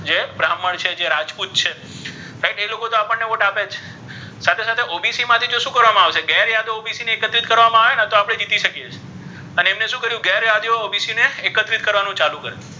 જે બ્રામ્હણ છે જે રાજપુત છે Right ઍ લોકો તો આપણ ને વોટ આપે જ છે સાથે સાથે OBC માથી જો શુ કરવા મા આવશે ગેરયાદીઓ OBC ને ઍકત્રિત કરવા મા આવે ને તો આપડૅ જિતિ શકીઍ છીઍ પણ્ ઍને શુ કર્યુ ગેરયાદીઓ OBC ને ઍકત્રિત કરવાનુ ચાલુ કર્યુ.